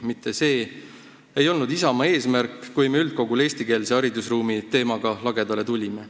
Mitte see ei olnud Isamaa eesmärk, kui me üldkogul eestikeelse haridusruumi teemaga lagedale tulime.